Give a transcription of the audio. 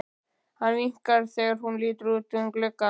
Hann vinkar þegar hún lítur út um gluggann.